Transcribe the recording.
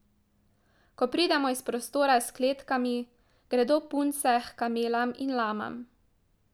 Ko pridemo iz prostora s kletkami, gredo punce h kamelam in lamam.